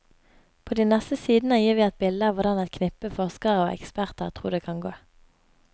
På de neste sidene gir vi et bilde av hvordan et knippe forskere og eksperter tror det kan gå.